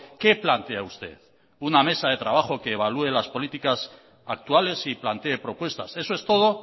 qué plantea usted una mesa de trabajo que evalúe las políticas actuales y plantee propuestas eso es todo